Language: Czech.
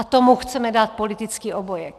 A tomu chceme dát politický obojek.